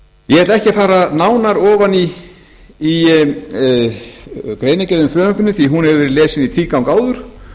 ég ætla ekki að fara nánar ofan í greinargerð með frumvarpinu því að hún hefur verið lesin í tvígang áður